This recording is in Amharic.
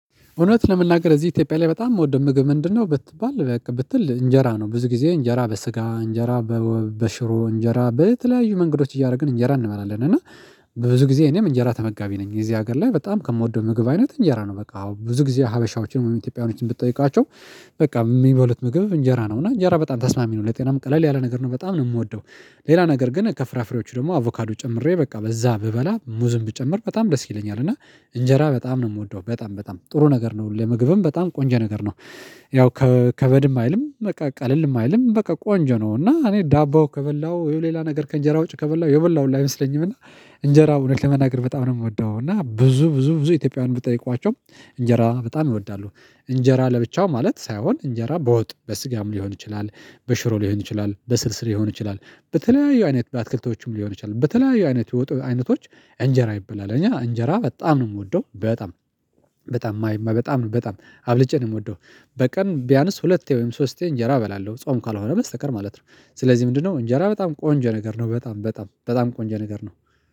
እውነት ለመናገር እዚህ ኢትዮጵያ ላይ በጣም እምወደው ምግብ ምንድነው? ብትባል በቃ ብትል እንጀራ ነው ብዙ ጊዜ እንጀራ በስጋ እንጀራ በሽሮ እንጀራ በተለያዩ መንገዶች እያደረግን እንጀራ እንመበላለን እና ብዙ ጊዜ እኔም እንጀራ ተመጋቢ ነኝ የዚህ ሀገር ላይ በጣም ከምወደው ምግብ አይነት እንጀራ ነው። በቃ አዎ ብዙ ጊዜ ሀበሻዎችን ኢትዮጵያኖችን ብጠይቋቸው በቃ የሚበሉት ምግብ እንጀራ ነው። እና እንጀራ በጣም ተስማሚ ነው ለጤናም ቀለል ያለ ነገር ነው በጣም ነው የምወደው። ሌላ ነገር ግን ከፍራፍሬዎቹ ደግሞ አቮካዶ ጨምሬ በቃ በዛ ብበላ ሙዝም ቢጨምር በጣም ደስ ይለኛል። እና እንጀራ በጣም ነው የምወደው በጣም በጣም ጥሩ ነገር ነው ለምግብም በጣም ቆንጆ ነገር ነው። ያው ከበድም አይልም በቃ ቀለልም አይልም በቃ ቆንጆ ነው እና እኔ ዳቦ ከበላሁ ወይ ሌላ ነገር ከእንጀራ ወጪ ከበላሁ የበላሁ ሁላ አይመስለኝም። እና እንጀራ እውነት ለመናገር በጣም ነው የምወደው። እና ብዙ ብዙ ብዙ ኢትዮጵያውያን ብጠይቋቸው እንጀራ በጣም ይወዳሉ። እንጀራ ለብቻው ማለት ሳይሆን እንጀራ በወጥ በስጋም ሊሆን ይችላል። በሽሮ ሊሆን ይችላል በስልስል ሊሆን ይችላል። በተለያዩ አይነት በአትክልቶቹም ሊሆን ይችላል በተለያዩ አይነት የወጥ አይነቶች። እንጀራ ይበላል እኛ እንጀራ በጣም ነው የምወደው በጣም በጣም ማይማ በጣም ነው በጣም አብልጬ ነው የምወደው። በቀን ቢያንስ ሁለቴ ወይም ሶስቴ እንጀራ እበላለሁ ጾም ካልሆነ በስተቀር ማለት ነው። ስለዚህ ምንድነው እንጀራ በጣም ቆንጆ ነገር ነው በጣም በጣም በጣም ቆንጃ ነገር ነው